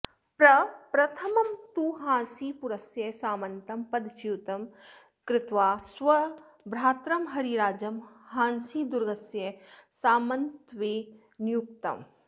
प्रप्रथमं तु हांसीपुरस्य सामन्तं पदच्युतं कृत्वा स्वभ्रातरं हरिराजं हांसीदुर्गस्य सामन्तत्वे न्ययुङ्क्त